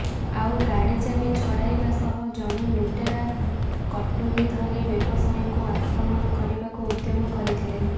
ଆଉ ଗାଡି ଚାବି ଛଡାଇବା ସହ ଜଣେ ଲୁଟେରା କଟୁରୀ ଧରି ବ୍ୟବସାୟୀଙ୍କୁ ଆକ୍ରମଣ କରିବାକୁ ଉଦ୍ୟମ କରିଥିଲେ